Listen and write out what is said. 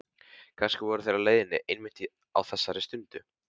Kannski voru þeir á leiðinni einmitt á þessari stundu.